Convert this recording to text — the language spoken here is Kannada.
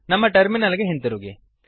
ನಮ್ಮ ಟರ್ಮಿನಲ್ ಗೆ ಹಿಂತಿರುಗಿ